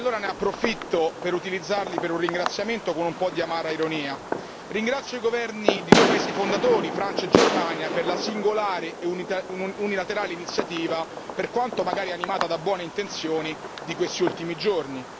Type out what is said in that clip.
Allora ne approfitto per utilizzarli per un ringraziamento con un po' di amara ironia. Ringrazio i governi di due paesi fondatori, Francia e Germania, per la singolare e unilaterale iniziativa, per quanto magari animata da buone intenzioni, di questi ultimi giorni.